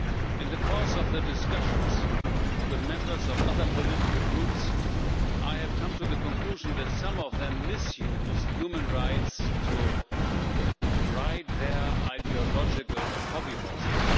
In the course of the discussions with members of other political groups, I have come to the conclusion that some of them misuse human rights to ride their ideological hobby horses.